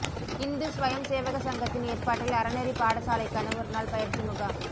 Hindu Swayamsevak சங்கத்தின் ஏற்பாட்டில் அறநெறி பாடசாலைக்கான ஒருநாள் பயிற்சி முகாம்